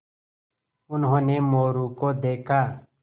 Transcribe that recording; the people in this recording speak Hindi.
उन्होंने मोरू को देखा